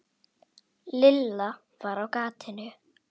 Lilla var á gatinu.